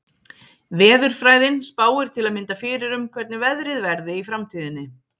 Veðurfræðin spáir til að mynda fyrir um hvernig veðrið verði í framtíðinni.